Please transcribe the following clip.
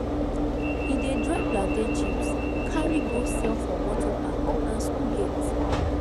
e dey dry plantain chips carry go sell for motor park and school gate